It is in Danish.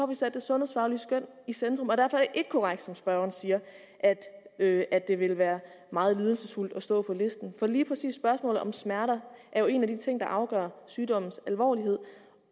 vi sat det sundhedsfaglige skøn i centrum og derfor er det ikke korrekt som spørgeren siger at at det vil være meget lidelsesfuldt at stå på listen for lige præcis spørgsmålet om smerter er jo en af de ting som afgør sygdommens alvor